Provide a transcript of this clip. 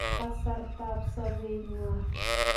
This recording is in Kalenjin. kasartab sobenywa.